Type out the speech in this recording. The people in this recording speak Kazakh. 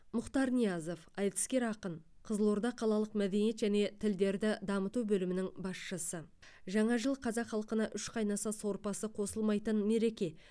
мұхтар ниязов айтыскер ақын қызылорда қалалық мәдениет және тілдерді дамыту бөлімінің басшысы жаңа жыл қазақ халқына үш қайнаса сорпасы қосылмайтын мереке